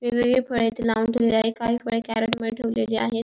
वेगवेगळी फळे इथे लावून ठेवलेली आहेत काही फळे कॅरेट मध्ये ठेवलेली आहेत.